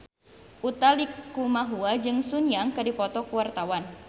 Utha Likumahua jeung Sun Yang keur dipoto ku wartawan